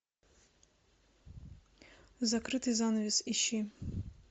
закрытый занавес ищи